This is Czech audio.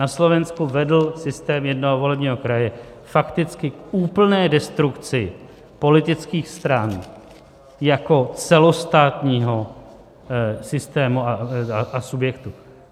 Na Slovensku vedl systém jednoho volebního kraje fakticky k úplné destrukci politických stran jako celostátního systému a subjektu.